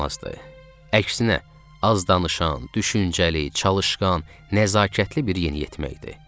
Əksinə, azdanışan, düşüncəli, çalışqan, nəzakətli bir yeniyetmə idi.